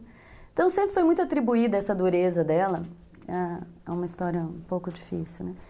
Então sempre foi muito atribuída essa dureza dela, ãh, é uma história um pouco difícil, né?